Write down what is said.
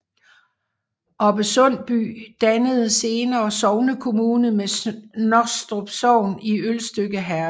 Oppe Sundby dannede senere sognekommune med Snostrup Sogn i Ølstykke Herred